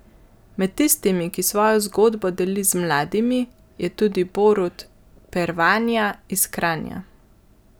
Med tistimi, ki svojo zgodbo deli z mladimi, je tudi Borut Pervanja iz Kranja.